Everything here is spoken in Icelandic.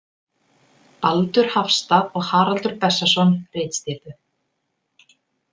Baldur Hafstað og Haraldur Bessason ritstýrðu.